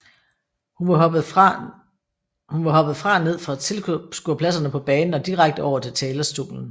Hun var hoppet fra ned fra tilskuerpladserne på banen og direkte over til talerstolen